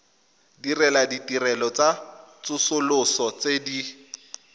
ditirelo tsa tsosoloso tse di